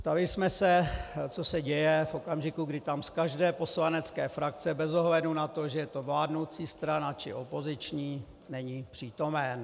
Ptali jsme se, co se děje v okamžiku, kdy tam z každé poslanecké frakce bez ohledu na to, že je to vládnoucí strana či opoziční, není přítomen.